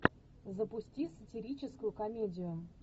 запусти сатирическую комедию